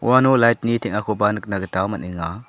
uano light-ni teng·akoba nikna gita man·enga.